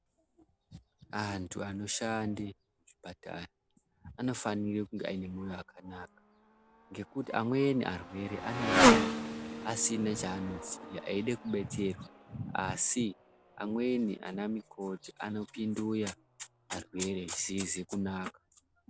Antu anoshanda muzvipatara anofana kunge ane moyo wakanaka ngekuti amweni arwere anouye asina chanoziya eida kudetsera asi amweni ana mikoti anopindura arwere zvisizi kunaka.